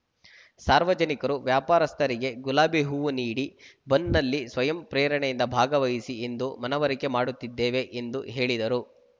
ಸಾರ್ವಜನಿಕರು ವ್ಯಾಪಾರಸ್ಥರಿಗೆ ಗುಲಾಬಿ ಹೂವು ನೀಡಿ ಬಂದ್‌ನಲ್ಲಿ ಸ್ವಯಂ ಪ್ರೇರಣೆಯಿಂದ ಭಾಗವಹಿಸಿ ಎಂದು ಮನವರಿಕೆ ಮಾಡುತ್ತಿದ್ದೇವೆ ಎಂದು ಹೇಳಿದರು